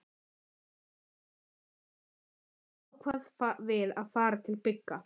Eftir nokkrar vangaveltur ákváðum við að fara til Bigga.